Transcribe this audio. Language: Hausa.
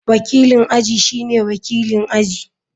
Wakilin aji shine wakilin aji.